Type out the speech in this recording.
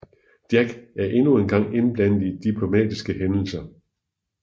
Jack er endnu engang indblandet i diplomatiske hændelser